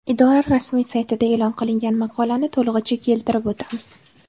Idora rasmiy saytida e’lon qilingan maqolani to‘lig‘icha keltirib o‘tamiz.